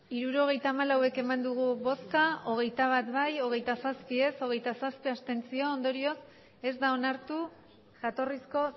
hirurogeita hamalau eman dugu bozka hogeita bat bai hogeita zazpi ez hogeita zazpi abstentzio ondorioz ez da onartu jatorrizko